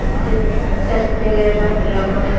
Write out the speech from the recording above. Baui, hvernig er veðrið á morgun?